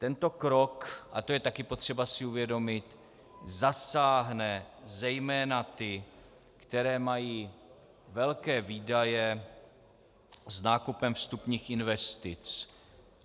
Tento krok, a to je také potřeba si uvědomit, zasáhne zejména ty, kteří mají velké výdaje s nákupem vstupních investic.